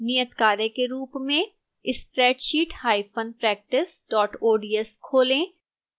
नियतकार्य के रूप में spreadsheetpractice ods खोलें